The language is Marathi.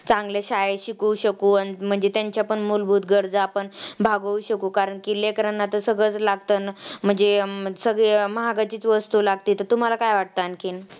चांगल्या शाळेत शिकवू शकू म्हणजे त्यांच्या पण मुलभूत गरजा आपण भागवू शकू कारण की लेकरांना तर सगळंच लागतं. म्हणजे सगळे महागाचीच वस्तु लागते तर तुम्हाला काय वाटतं आणखीन?